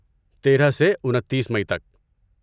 تیرہ سے انتیس مئی تک